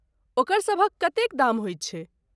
ओकर सभक कतेक दाम होइत छैक ?